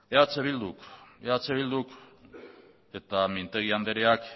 eh bilduk eta mintegi andreak